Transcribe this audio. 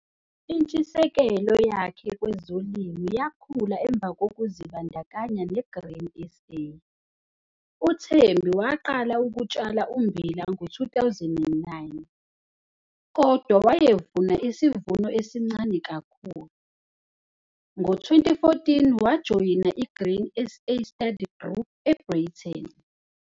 Intshisekelo yakhe kwezolimo yakhula emva kokuzibandakanya neGrain SA. UThembie waqala ukutshala ummbila ngo-2009, kodwa wayevuna isivuno esincane kakhulu. Ngo-2014 wajoyina i-Grain SA study group eBreyten.